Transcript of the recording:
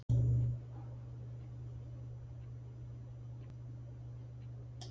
Heimir: Segir þetta okkur að stjórnmálin eru hættuleg atvinnugrein beinlínis?